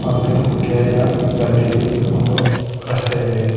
ಮತ್ತು ಕೆರೆಯ ದಂಡಿಗೆ ಒಂದು ರಸ್ತೆ ಇದೆ.